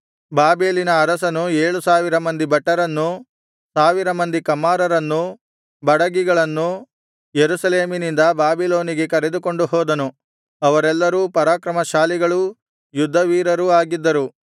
ಬಾಬೆಲಿನ ಅರಸನು ಏಳು ಸಾವಿರ ಮಂದಿ ಭಟರನ್ನೂ ಸಾವಿರ ಮಂದಿ ಕಮ್ಮಾರರನ್ನೂ ಬಡಗಿಗಳನ್ನು ಯೆರೂಸಲೇಮಿನಿಂದ ಬಾಬಿಲೋನಿಗೆ ಕರೆದುಕೊಂಡು ಹೋದನು ಅವರೆಲ್ಲರೂ ಪರಾಕ್ರಮಶಾಲಿಗಳೂ ಯುದ್ಧವೀರರೂ ಆಗಿದ್ದರು